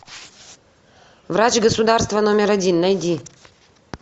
врач государства номер один найди